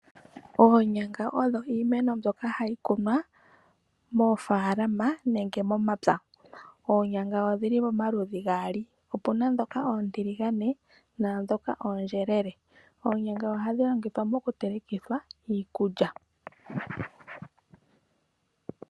Oonyanga odho iimeno mbyoka hayi kunwa moofaalama nenge momapya. Oonyanga odhi li pamaludhi gaali, opu na ndhoka oontiligane, naandhoka oontokele.